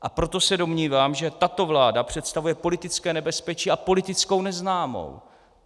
A proto se domnívám, že tato vláda představuje politické nebezpečí a politickou neznámou.